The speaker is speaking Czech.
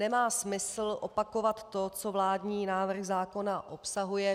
Nemá smysl opakovat to, co vládní návrh zákona obsahuje.